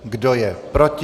Kdo je proti?